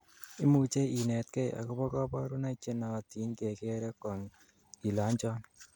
imuchei inetgei agobo kaborunoik chenootin kegere Kong ile anchon